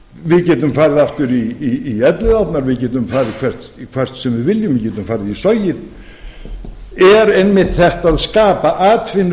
við getum farið aftur í elliðaárnar við getum farið hvert sem við viljum við getum farið í sogið er einmitt þetta að skapa atvinnu